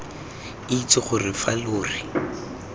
itse gore fa lo re